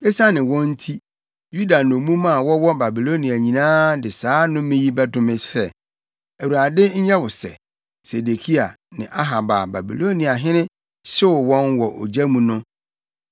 Esiane wɔn nti, Yuda nnommum a wɔwɔ Babilonia nyinaa de saa nnome yi bɛdome sɛ: ‘ Awurade nyɛ wo sɛ, Sedekia ne Ahab a Babiloniahene hyew wɔn wɔ ogya mu no.’